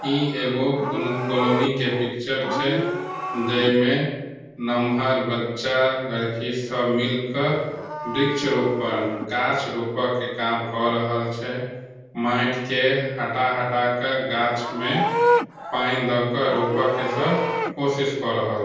इ ऐ गो कोनो कॉलोनी के पिक्चर छै जेमे नमहर बच्चा लड़की सब मिल के वृक्ष रोपण गाछ रोपे के काम क रहल छै मैएट के हटा-हटा के गाछ में पेन द केए रोपक के सब कोशिश क रहल |